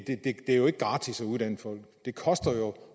er jo ikke gratis at uddanne folk det koster jo